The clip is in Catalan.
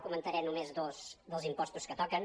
comen·taré només dos dels impostos que toquen